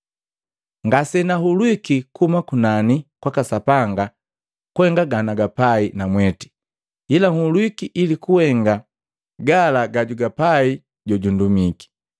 Ngase na hulwiki kuhuma kunani kwaka Sapanga kuhenga ganagapai namwete ila hulwiki ili kuhenga gala gajugapai jojundumiki.